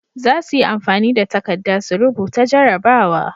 Zasuyi amfani da takadda su rubuta jarabawa